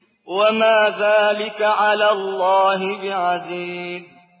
وَمَا ذَٰلِكَ عَلَى اللَّهِ بِعَزِيزٍ